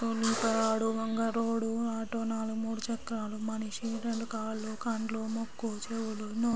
auto నాలుగు మూడు చక్రాలు మనిషి రెండు కాళ్లు కండ్లు ముక్కు చెవులు నోరు --